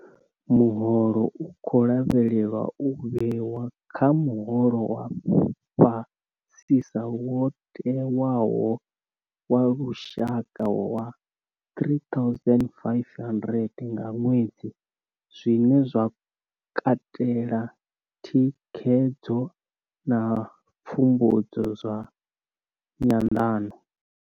Muholo u khou lavhelelwa u vhewa kha muholo wa fhasisa wo tewaho wa lushaka wa R3 500 nga ṅwedzi, zwine zwa katela thikhedzo na pfumbudzo zwa nyanḓano.